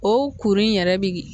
O kuru in yɛrɛ bi